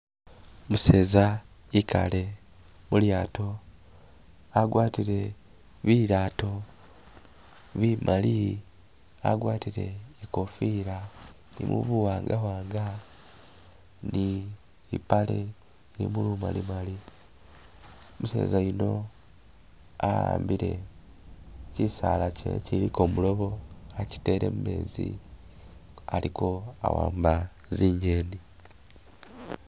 Umuseza ekale mulyaato agwatile bilaato bimali agwatile ikofila ilimo buwanga wanga ni ipale ilimo bumali mali, umuseza yuno ahambile kyisaala chiliko mulobo achitele mumeezi aliko awamba zinyeni.